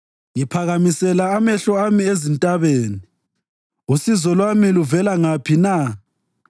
Ngiphakamisela amehlo ami ezintabeni usizo lwami luvela ngaphi na?